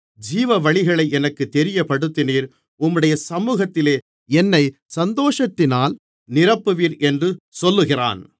ஜீவவழிகளை எனக்குத் தெரியப்படுத்தினீர் உம்முடைய சமூகத்திலே என்னைச் சந்தோஷத்தினால் நிரப்புவீர் என்று சொல்லுகிறான்